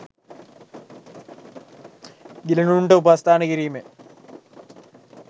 ගිලනුන්ට උපස්ථාන කිරීමෙන්